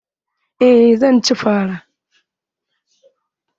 Eh zan ci fara.